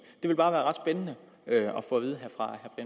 strid